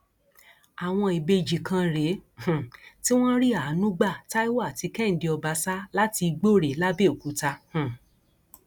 àwọn ìbejì kan rèé um tí wọn rí àánú gba taiwo àti kehinde ọbaṣà láti igbòrè làbẹọkútà um